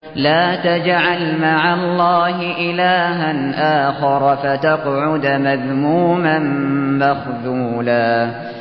لَّا تَجْعَلْ مَعَ اللَّهِ إِلَٰهًا آخَرَ فَتَقْعُدَ مَذْمُومًا مَّخْذُولًا